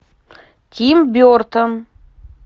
тим бертон